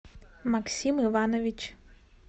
максим иванович